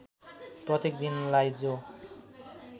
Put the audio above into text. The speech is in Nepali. प्रत्येक दिनलाई जो